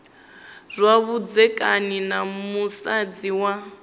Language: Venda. zwa vhudzekani na musadzi wa